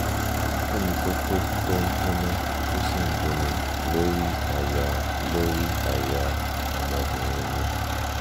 kí ni kókó tó ń gbóná tó sì ń dunni lórí àyà lórí àyà ọmọbìnrin mi?